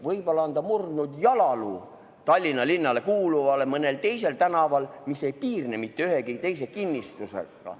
Võib-olla on ta murdnud jalaluu Tallinna linnale kuuluval mõnel teisel tänaval, mis ei piirne mitte ühegi teise kinnistuga.